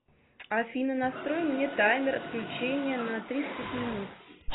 афина настрой мне таймер отключения на тридцать минут